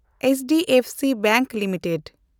HDFC bank limited